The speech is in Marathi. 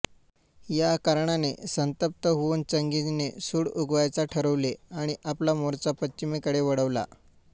या कारणाने संतप्त होऊन चंगीझने सूड उगवायचा ठरवले आणि आपला मोर्चा पश्चिमेकडे वळवला